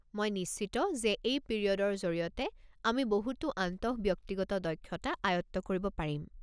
মই নিশ্চিত যে এই পিৰিয়ডৰ জৰিয়তে আমি বহুতো আন্তঃব্যক্তিগত দক্ষতা আয়ত্ত কৰিব পাৰিম।